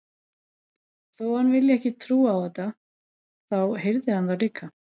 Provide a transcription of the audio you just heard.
Þó að hann vilji ekki trúa á þetta, þá heyrði hann það líka.